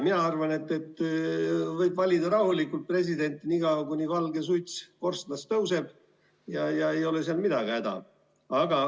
Mina arvan, et presidenti võib rahulikult valida niikaua, kuni valget suitsu hakkab korstnast tõusma, ja ei ole sel midagi häda.